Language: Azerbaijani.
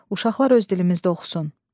Uşaqlar öz dilimizdə oxusun.